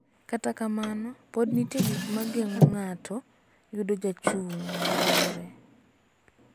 Kata kamano, pod nitie gik ma geng�o ng�ato yudo jochung� maromre.